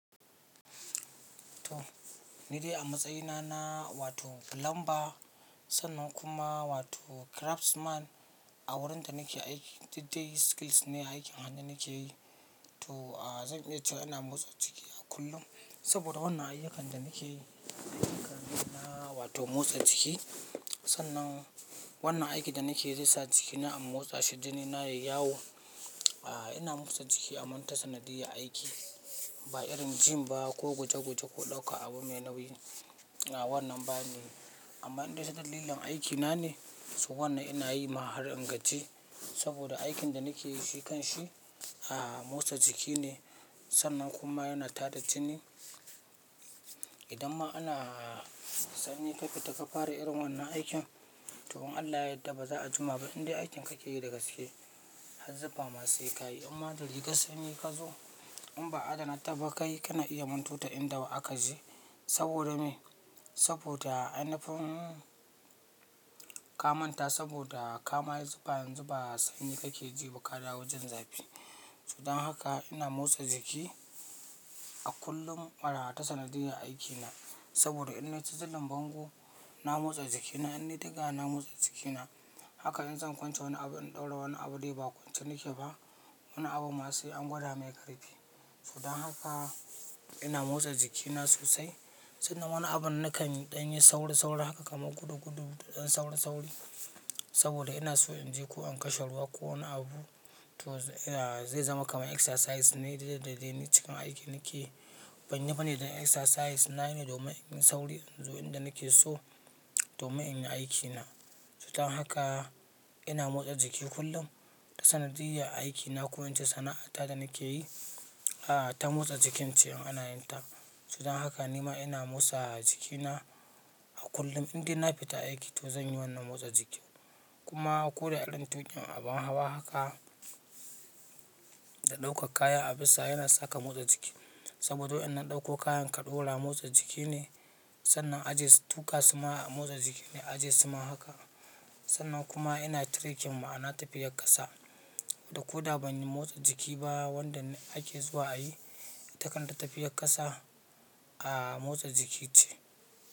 To, ni dai a matsayina na wato plumber sannan kuma wato craftsman a wurin da nake aiki, duk dai skills ne aikin hannu nake yi. To, a zan iya cewa ina motsa jikina kullum saboda wannan ayyukan da nake yi ayyuka ne na wato motsa jiki. Sannan wannan aiki da nake yi zai sa jikina in motsa shi, jini na yayi yawo. Ina motsa jiki a manta sanadiyya aiki, ba irin gym ba ko guje-guje ko ɗauka abu mai nauyi. A wannan ba ne, amma indai ta dalilin aikina ne so wannan ina yi ma har inganci saboda aikin da nake yi shi kanshi, a motsa jiki ne sannan kuma yana tada jini. Idan ma ana sanyi ka fita ka fara irin wannan aikin, to in Allah yadda ba za a jima ba indai aikin kake yi da gaske. Har zufa ma sai kayi, imma da rigar sanyi ka zo in ba adana ta ba kayi kana iya manto ta inda wa aka je saboda me? Saboda ainifin ka manta saboda ka maye zufa yazu ba sanyi kake ji ba ka dawo jin zafi. So dan haka ina motsa jiki a kullum marar sanadiyan aikina saboda in na ci zulin bango, na motsa jikina, in dai ɗaga, na motsa jikina. Haka nan zan kwance woni abu in ɗaura woni abu dai ba kwance nake ba. Woni abu ma sai an gwada mai ƙarfi. So don haka ina motsa jikina sosai sannan woni abun na kan ɗanyi sauri-sauri haka kamar gudu-gudu ɗan sauri-sauri saboda ina so in je ko in kashe ruwa ko woni abu. To, zai zama kaman exercise ne dai ne cikin aiki nake. Ban yi ba ne don exercise nayi ne domin in yi sauri in zo inda nake so domin in yi aikina. So don haka ina motsa jiki kullum ta sanadiyya a aikina ko in ce sana'a ta da nake yi, a ta motsa jikin ce in ana yin ta. So don haka ni ma ina motsa jikina a kullum indai na fita aiki to zan yi wannan motsa jikin. Kuma ko da irin tukin, abun hawa haka da ɗaukar kaya a bisa yana sa ka motsa jiki saboda yan-nan ɗauko ka ɗora motsa jiki ne sannan aje su, tuka su ma a motsa jiki ne aje su ma haka. Sannan kuma ina trekking ma ana tafiyar ƙasa da ko da ban yi motsa jiki ba wanda ake zuwa a yi, ita kan tafiyar ƙasa a motsa jiki ce.